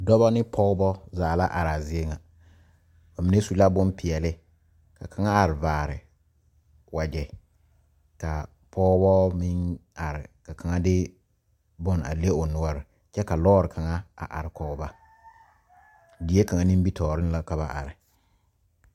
Dɔbɔ ne pɔgɔbɔ zaa la are a zie ŋa. Ba mene su la boŋ piɛle. Ka kanga are vaare wagye. Ka a pɔgɔbɔ meŋ are ka kanga de boŋ a le o nuore. Kyɛ ka lɔre kanga a are kɔ ba. Die kanga nimitooreŋ la ka ba are.